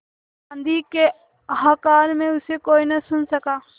आँधी के हाहाकार में उसे कोई न सुन सका